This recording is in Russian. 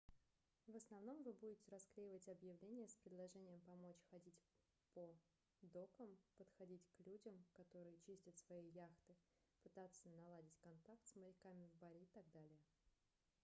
в основном вы будете расклевать объявления с предложением помочь ходить по докам подходить к людям которые чистят свои яхты пытаться наладить контакт с моряками в баре и так далее